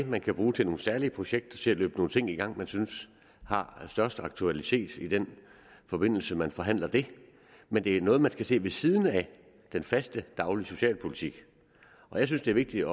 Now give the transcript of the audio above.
man kan bruge til nogle særlige projekter til at løbe nogle ting i gang som man synes har størst aktualitet i den forbindelse man forhandler det men det er noget man skal se ved siden af den faste daglige socialpolitik og jeg synes det er vigtigt